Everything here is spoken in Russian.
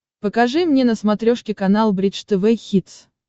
покажи мне на смотрешке канал бридж тв хитс